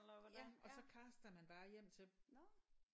Ja og så caster man bare hjem til